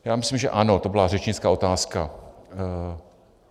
Já myslím, že ano, to byla řečnická otázka.